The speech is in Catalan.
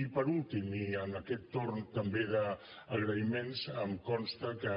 i per últim i en aquest torn també d’agraïments em consta que